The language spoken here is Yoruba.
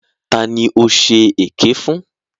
Ta ni ó ṣe èké fún?